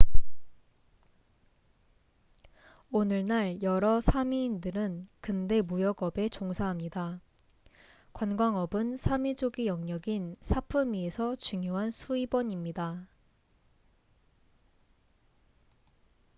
오늘날 여러 사미인들은 근대 무역업에 종사합니다 관광업은 사미족의 영역인 사프미에서 중요한 수입원입니다